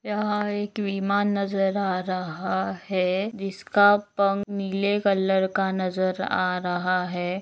यहा एक विमान नजर आ रहा है जिस का पंख नीले कलर का नजर आ रहा है।